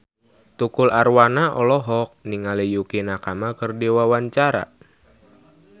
Tukul Arwana olohok ningali Yukie Nakama keur diwawancara